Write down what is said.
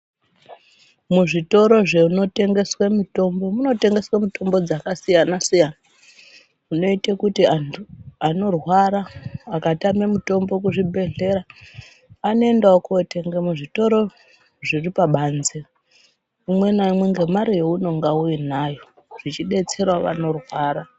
Muzvitoro zvinotengeswa mitombo munotengeswa mutombo dzakakasiya siyana zvinoita kuti antu anorwara akatama mitombo kuzvibhedhlera anoenda wo kunotenga muzvitoro zviri pabanze umwe naumwe ngemare yaunonga uyinayo zvichidetsera vano rwara.